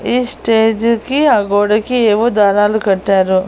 ఈ స్టేజుకి ఆ గోడకి ఏవో దారాలు కట్టారు.